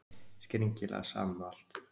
Skringilega sama um allt.